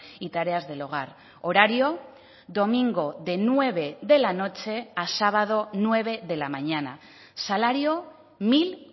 y tareas del hogar horario domingo de nueve de la noche a sábado nueve de la mañana salario mil